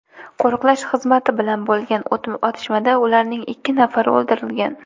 Qo‘riqlash xizmati bilan bo‘lgan otishmada ularning ikki nafari o‘ldirilgan.